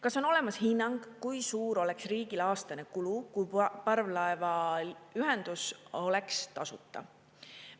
Kas on olemas hinnang, kui suur oleks riigil aastane kulu, kui parvlaevaühendus oleks tasuta?